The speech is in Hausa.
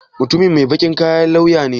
Mutumin mai baƙin kaya lauya ne?